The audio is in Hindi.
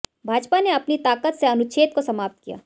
भाजपा ने अपनी ताकत से अनुच्छेद को समाप्त किया